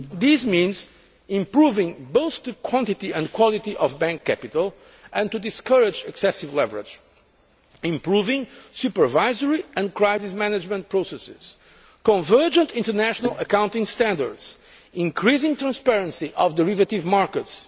This means improving both the quantity and quality of bank capital and discouraging excessive leverage, improving supervisory and crisis management processes, ensuring convergent international accounting standards, and increasing the transparency of derivative markets.